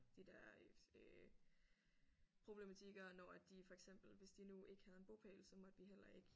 De der øh problematikker når at de for eksempel hvis de nu ikke havde en bopæl så måtte vi heller ikke